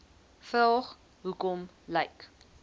vraag hoekom lyk